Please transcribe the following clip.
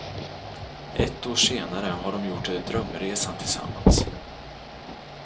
Ett år senare har de gjort drömresan tillsammans.